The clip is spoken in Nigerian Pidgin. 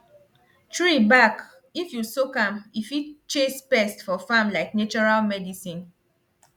tree back if u soak am e fit chase pests for farm like natural medicine